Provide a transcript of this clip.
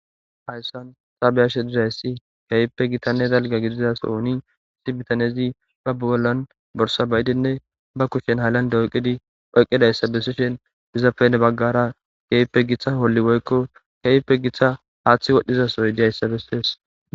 hayssan ta beyashe dirayssi kawpe gitanne dalga gidiza sooni si bitanezi ba bugollan borsa bayidinne ba kushshen halande oyqidi oyqidayssa besishen izafene baggara geepe giththa holli woykko kewpe giththa haaththi wodhdhizasoy diayssa bestees